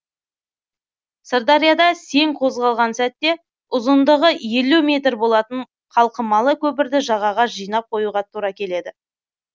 сырдарияда сең қозғалған сәтте ұзындығы елу метр болатын қалқымалы көпірді жағаға жинап қоюға тура келеді